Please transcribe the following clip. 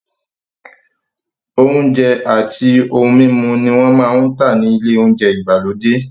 Oúnjẹ àti ohun mímu ni wọ́n máa ń tà ní ilé oúnjẹ ìgbàlódé.